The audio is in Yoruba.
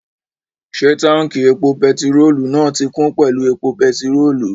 Ṣé táùnkì epo pẹtirólù náà ti kún pẹ̀lú epo pẹtirólù?